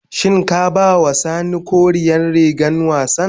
Shin ka ba ma sani koren rigar wassan.